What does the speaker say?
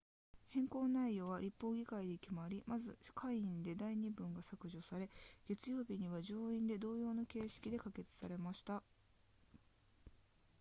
変更内容は立法議会で決まりまず下院で第二文が削除され月曜日には上院で同様の形式で可決されました